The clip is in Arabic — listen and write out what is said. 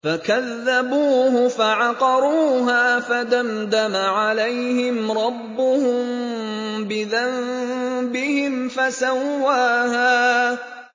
فَكَذَّبُوهُ فَعَقَرُوهَا فَدَمْدَمَ عَلَيْهِمْ رَبُّهُم بِذَنبِهِمْ فَسَوَّاهَا